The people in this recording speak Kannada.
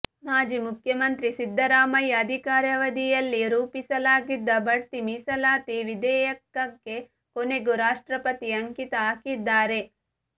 ಮಾಜಿ ಮುಖ್ಯಮಂತ್ರಿ ಸಿದ್ದರಾಮಯ್ಯ ಅಧಿಕಾರವಧಿಯಲ್ಲಿ ರೂಪಿಸಲಾಗಿದ್ದ ಬಡ್ತಿ ಮೀಸಲಾತಿ ವಿಧೇಯಕಕ್ಕೆ ಕೊನೆಗೂ ರಾಷ್ಟ್ರಪತಿ ಅಂಕಿತ ಹಾಕಿದ್ದಾರೆ